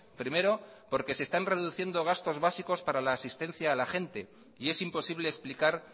primero porque se están reduciendo gastos básicos para la asistencia a la gente y es imposible explicar